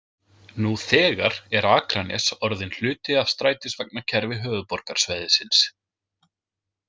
Nú þegar er Akranes orðinn hluti af strætisvagnakerfi höfuðborgarsvæðisins.